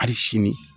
Hali sini